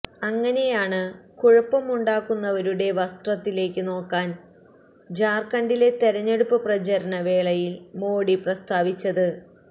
അങ്ങനെയാണ് കുഴപ്പമുണ്ടാക്കുന്നവരുടെ വസ്ത്രത്തിലേക്ക് നോക്കാൻ ഝാർഖണ്ഡിലെ തെരഞ്ഞെടുപ്പ് പ്രചാരണ വേളയിൽ മോഡി പ്രസ്താവിച്ചത്